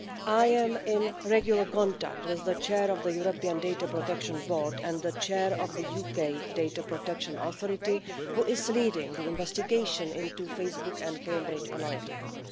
I am in regular contact with the Chair of the European Data Protection Board and the Chair of the UK Data Protection Authority, who is leading the investigation into Facebook and Cambridge Analytica.